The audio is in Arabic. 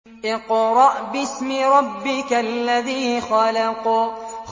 اقْرَأْ بِاسْمِ رَبِّكَ الَّذِي خَلَقَ